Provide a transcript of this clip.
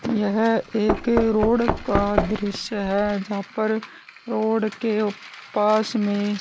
यह एक रोड का दृश्य है जहां पर रोड के पास में--